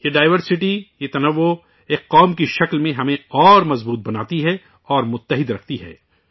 یہ ڈائیورسٹی ، یہ تنوع ، ایک قوم کی شکل میں ہمیں مزید مضبوط کرتی ہے اور متحد رکھتی ہے